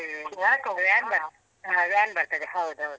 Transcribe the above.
ಹ್ಮ್ van ಬರ್ತದೆ ಹೌದು ಹೌದೌದು.